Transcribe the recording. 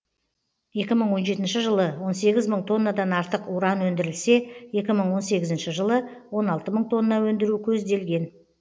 екі мың он жетінші жылы он сегіз мың тоннадан артық уран өндірілсе екі мың он сегізінші жылы он алты мың тонна өндіру көзделген